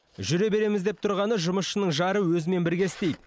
жүре береміз деп тұрғаны жұмысшының жары өзімен бірге істейді